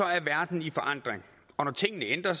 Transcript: er verden i forandring og når tingene ændrer